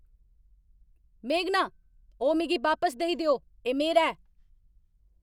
मेघना, ओह् मिगी बापस देई देओ। एह् मेरा ऐ!